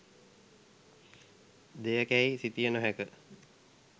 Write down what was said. දෙයකැයි සිතිය නොහැක.